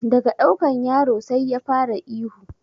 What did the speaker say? Daga ɗaukan yaro sai ya fara ihu